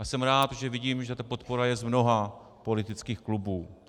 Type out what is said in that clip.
A jsem rád, že vidím, že ta podpora je z mnoha politických klubů.